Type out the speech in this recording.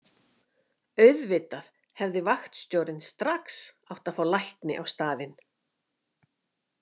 Auðvitað hefði vaktstjórinn strax átt að fá lækni á staðinn.